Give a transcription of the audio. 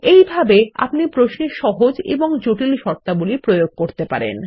এইভাবেই আপনি প্রশ্নে সহজ এবং জটিল শর্তাবলী প্রয়োগ করতে পারেন